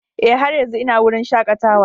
Ee, har yanzu ina wurin shakatawa.